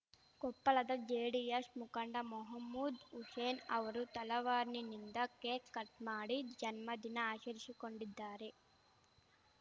ಕೊಪ್ಪಳದ ಜೆಡಿಯಶ್ ಮುಖಂಡ ಮೆಹಮೂದ್‌ ಹುಶೇನ್‌ ಅವರು ತಲವಾರ್‌ನಿಂದ ಕೇಕ್‌ ಕಟ್‌ ಮಾಡಿ ಜನ್ಮದಿನ ಆಚರಿಶಿಕೊಂಡಿದ್ದಾರೆ